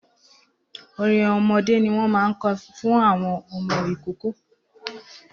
Orin ọmọdé ni wọ́n máa ń kọ fún àwọn ọmọ ìkóókó